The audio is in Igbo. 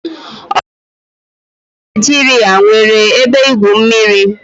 Ọtụtụ hoteelu na Naijiria nwere ebe igwu mmiri